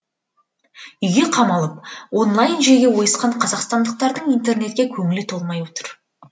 үйге қамалып онлайн жүйеге ойысқан қазақстандықтардың интернетке көңілі толмай отыр